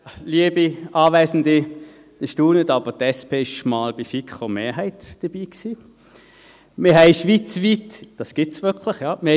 Sie staunen, aber die SP war für einmal bei der FiKo-Mehrheit dabei – das gibt es wirklich, ja!